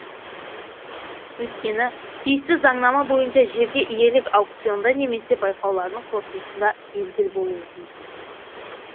өйткені тиісті заңнама бойынша жерге иелік аукционда немесе байқаулардың қорытындысында белгілі болуы тиіс